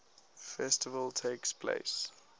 festival takes place